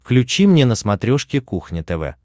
включи мне на смотрешке кухня тв